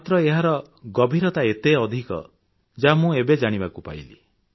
ମାତ୍ର ଏହାର ଗଭୀରତା କେତେ ଅଧିକ ତାହା ମୁଁ ନିଜେ ଜାଣିବାକୁ ପାଇଲି